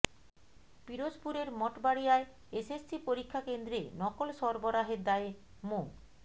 পিরোজপুরের মঠবাড়িয়ায় এসএসসি পরীক্ষা কেন্দ্রে নকল সরবরাহের দায়ে মো